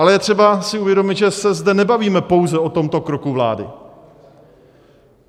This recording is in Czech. Ale je třeba si uvědomit, že se zde nebavíme pouze o tomto kroku vlády.